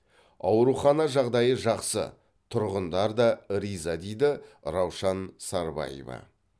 аурухана жағдайы жақсы тұрғындар да риза дейді раушан сарбаева